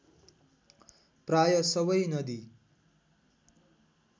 प्राय सवै नदी